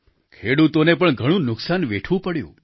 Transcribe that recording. ખેડૂતોને પણ ઘણું નુકસાન વેઠવું પડ્યું